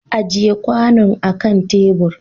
Ajiye kwanon akan tebur!